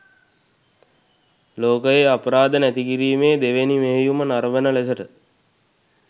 ලෝකයේ අපරාධ නැතිකිරීමේ දෙවැනි මෙහෙයුම නරඔන ලෙසට